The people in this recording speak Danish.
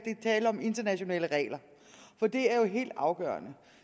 tale om internationale regler det er helt afgørende